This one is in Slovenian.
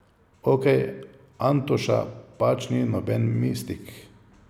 Okej, Antoša pač ni noben mistik.